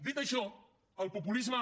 dit això el populisme